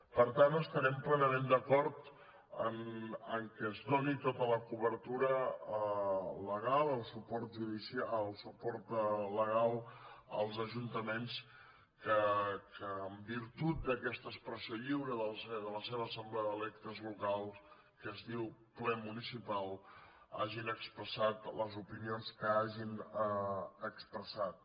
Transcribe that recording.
per tant estarem plenament d’acord que es doni tota la cobertura legal el suport legal als ajuntaments que en virtut d’aquesta expressió lliure de la seva assemblea d’electes locals que es diu ple municipal hagin expressat les opinions que hagin expressat